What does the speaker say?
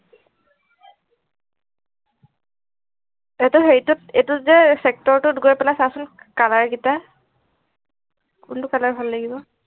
এইটো হেইটো এইটো যে sector ত গৈ পেলাই চা চোন color গিটা কোনটো color ভাল লাগিব